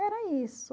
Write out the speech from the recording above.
Era isso.